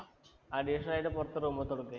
Additional ആയിട്ട് പുറത്ത് room എടുത്തു കൊടുക്കേ?